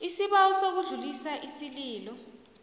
isibawo sokudlulisa isililo